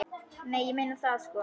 Nei, ég meina það, sko.